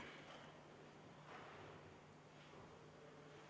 Vaheaeg 10 minutit.